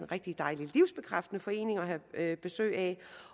rigtig dejlig livsbekræftende forening at have besøg af